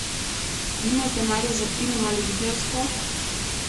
Nimaš denarja za film ali videospot?